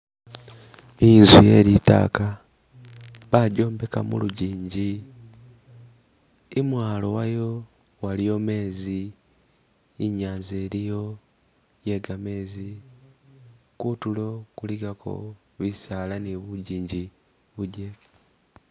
I'nzu ye litaaka bajobeka mulujinji i'mwalo wayo waliyo mezi i'nyanza iliyo ye gamezi, kutuulo kuligako bisaala ni bujinji bujeke